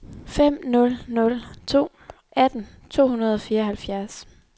fem nul nul to atten to hundrede og fireoghalvfjerds